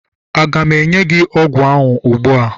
a ga m enye gi ogwu ogwu ugbua?